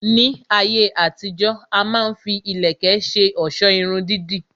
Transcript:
Ní ayé àtijó, a má ń fi ìlẹ̀kẹ̀ ṣe ọ̀sọ́ Irun dídì